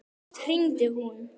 Oft hringdi hún.